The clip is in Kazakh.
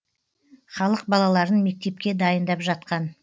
халық балаларын мектепке дайындап жатқан